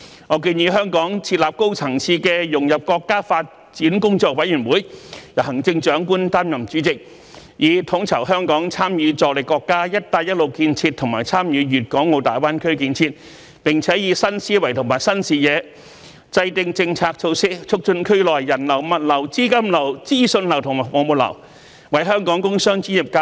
我建議香港設立高層次的融入國家發展工作委員會，由行政長官擔任主席，以統籌香港參與助力國家"一帶一路"建設和參與粵港澳大灣區建設，並以新思維和新視野，制訂政策措施，促進區內的人流、物流、資金流、資訊流和服務流，為本港工商專業界和各類專業人才......